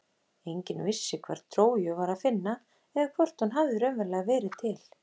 Enginn vissi hvar Tróju var að finna eða hvort hún hafði raunverulega verið til.